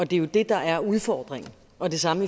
det er jo det der er udfordringen og det samme